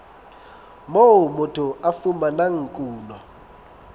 moo motho a fumanang kuno